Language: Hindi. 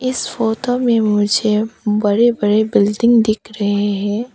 इस फोटो में मुझे बड़े बड़े बिल्डिंग दिख रहे हैं।